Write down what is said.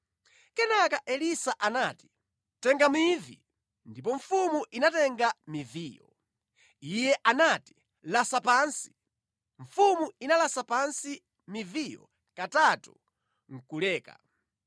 Kenaka Elisa anati, “Tenga mivi.” Ndipo mfumu inatenga miviyo. Iye anati, “Lasa pansi.” Mfumu inalasa pansi miviyo katatu nʼkuleka.